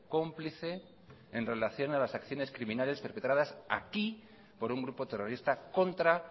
cómplice en relación a las acciones criminales perpetradas aquí por un grupo terrorista contra